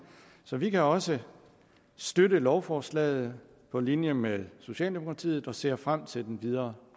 så vi kan også støtte lovforslaget på linje med socialdemokratiet og ser frem til den videre